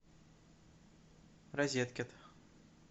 розеткед